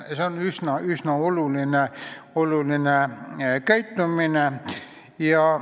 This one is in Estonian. See on üsna oluline käitumisviis.